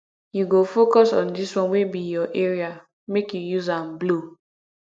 you go focus on dis one wey be your area make you use am blow